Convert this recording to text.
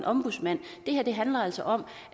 ombudsmanden det her handler altså om